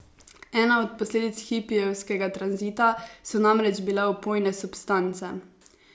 Ena od posledic hipijevskega tranzita so namreč bile opojne substance.